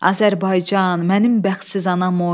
Azərbaycan, mənim bəxtsiz anam oy,